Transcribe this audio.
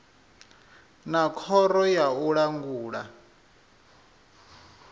na khoro ya u langula